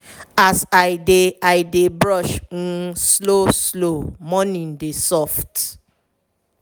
as i dey i dey brush um slow-slow morning dey soft.